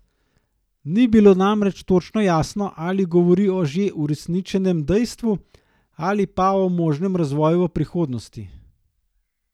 Ni bilo namreč točno jasno, ali govori o že uresničenem dejstvu ali pa o možnem razvoju v prihodnosti.